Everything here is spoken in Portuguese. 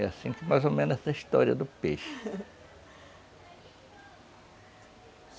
É assim que mais ou menos é a história do peixe